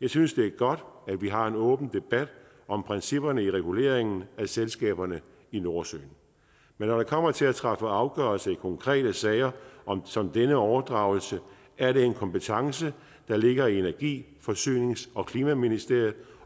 jeg synes det er godt at vi har en åben debat om principperne i reguleringen af selskaberne i nordsøen men når det kommer til at træffe afgørelse i konkrete sager som denne overdragelse er det en kompetence der ligger i energi forsynings og klimaministeriet